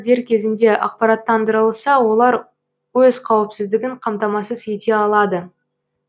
дер кезінде ақпараттандырылса олар өз қауіпсіздігін қамтамасыз ете алады